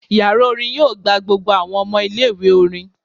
Yara orin yoo gba gbogbo awọn ọmọ ile-iwe orin